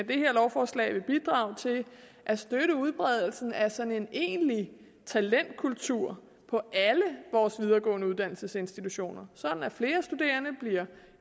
det her lovforslag vil bidrage til at støtte udbredelsen af sådan en egentlig talentkultur på alle vores videregående uddannelsesinstitutioner sådan at flere studerende bliver